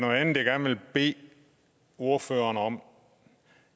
andet jeg gerne vil bede ordføreren om